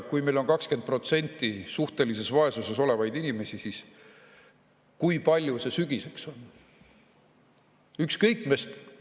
Kui meil on 20% suhtelises vaesuses olevaid inimesi, siis kui palju see sügiseks on?